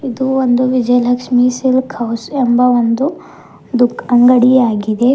ಇದು ಒಂದು Vijayalakshmi silk house ಎಂಬ ಒಂದು ದುಖ್ ಅಂಗಡಿಯಾಗಿದೆ.